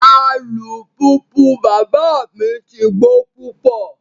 Alupupu baba mi ti gbo pupọ